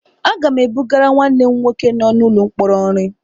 Aga m ebugara nwanne m nwoke nọ n'ụlọ mkpọrọ nri.